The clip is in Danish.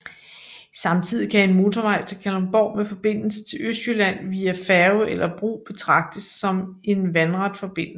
Samtidig kan en motorvej til Kalundborg med forbindelse til Østjylland via færge eller bro betragtes som en vandret forbindelse